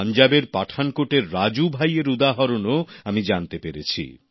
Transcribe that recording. পাঞ্জাবের পাঠানকোটের রাজু ভাই এর উদাহরণও আমি জানতে পেরেছি